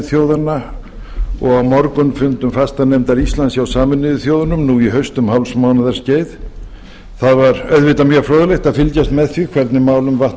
þjóðanna og á morgunfundum fastanefndar íslands hjá sameinuðu þjóðunum nú í haust um hálfs mánaðar skeið það var auðvitað mjög fróðlegt að fylgjast með því hvernig málum vatt